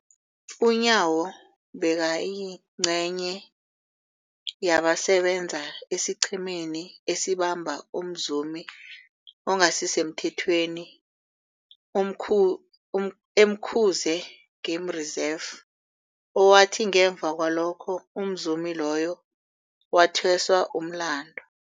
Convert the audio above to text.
UNyawo bekayingcenye yabasebenza esiqhemeni esabamba umzumi ongasisemthethweni e-Umkhuze Game Reserve, owathi ngemva kwalokho umzumi loyo wathweswa umlandu.